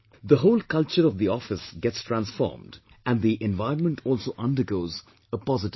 The whole culture of the office gets transformed and the environment also undergoes a positive change